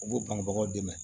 U b'u banbagaw dɛmɛ